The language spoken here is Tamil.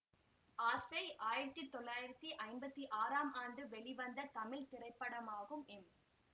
ஆசை ஆயிரத்தி தொள்ளாயிரத்தி ஐம்பத்தி ஆறாம் ஆண்டு வெளிவந்த தமிழ் திரைப்படமாகும் எம்